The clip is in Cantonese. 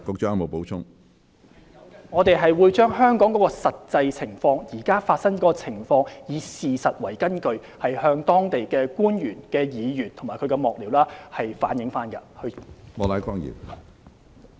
主席，我們會將香港現時的實際情況，以事實為根據向當地官員、議員及其幕僚反映。